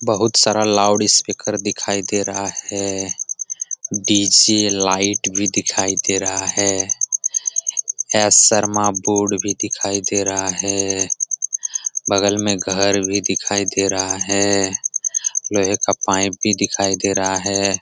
बहुत सारा loud speaker दिखाई दे रहा है डी.जे. लाइट भी दिखाई दे रहा है एस शर्मा बोर्ड भी दिखाई दे रहा है बगल में घर भी दिखाई दे रहा है लोहे का पाइप भी दिखाई दे रहा है।